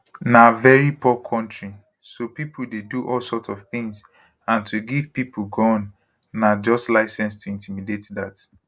na veri poor kontri so pipo dey do all sorts of tins and to give pipo gun na just license to intimidate dat